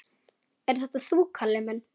Ert þetta þú, Kalli minn?